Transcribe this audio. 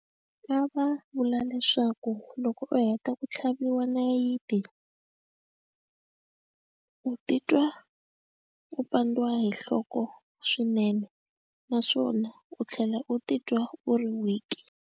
A va vula leswaku loko u heta ku tlhaviwa nayiti u titwa u pandziwa hi nhloko swinene naswona u tlhela u titwa u ri weak.